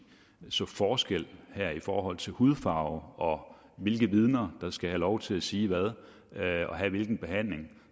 så forskel her i forhold til hudfarve og hvilke vidner der skal have lov til at sige hvad og have hvilken behandling